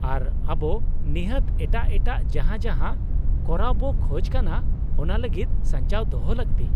-ᱟᱨ ᱟᱵᱚ ᱱᱤᱦᱟᱹᱛ ᱮᱴᱟᱜ ᱮᱴᱟᱜ ᱡᱟᱦᱟᱸ ᱡᱟᱦᱟᱸ ᱠᱚᱨᱟᱣ ᱵᱚ ᱠᱷᱚᱡ ᱠᱟᱱᱟ ᱚᱱᱟ ᱞᱟᱹᱜᱤᱫ ᱥᱟᱧᱪᱟᱣ ᱫᱚᱦᱚ ᱞᱟᱹᱠᱛᱤ ᱾